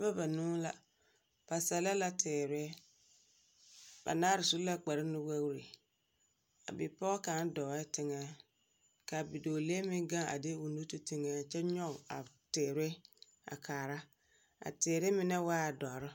Noba banuu la, ba sɛlɛ la teere. Banaar su la kparnuwoori. A bipɔɔ kaŋa dɔɔ teŋɛ, k'a bidɔɔlee meŋ gaŋ a de o nu ti teŋɛ kyɛ nyɔge a teere a kaara. A teere menɛ waa dɔr